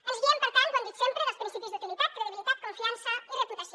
ens guiem per tant ho hem dit sempre pels principis d’utilitat credibilitat confiança i reputació